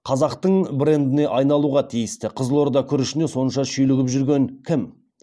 қазақтың брендіне айналуға тиісті қызылорда күрішіне сонша шүйлігіп жүрген кім